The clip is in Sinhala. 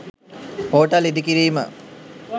හෝටල් ඉදිකිරීම